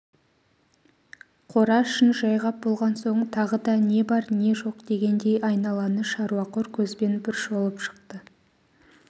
қора ішін жайғап болған соң тағы да не бар не жоқ дегендей айналаны шаруақор көзбен бір шолып шықты